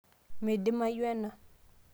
meidimayu ena